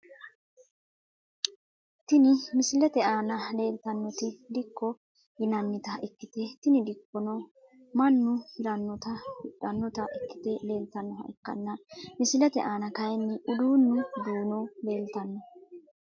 Tini misilete aana leeltanoti dikko yinanita ikite tini dikkono manu hiranota hidhanota ikite leeltanoha ikanna misilete aana kaayini uduunu duuno leeltano.